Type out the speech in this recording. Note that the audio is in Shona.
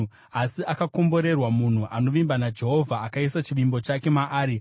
“Asi akakomborerwa munhu anovimba naJehovha, akaisa chivimbo chake maari.